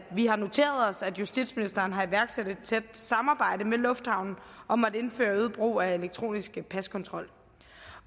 vi har noteret os at justitsministeren har iværksat et tæt samarbejde med lufthavnen om at indføre øget brug af elektronisk paskontrol